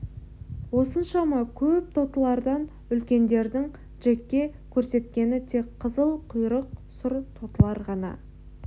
осыншама көп тотылардан үлкендердің джекке көрсеткені тек қызыл құйрық сұр тотылар ғана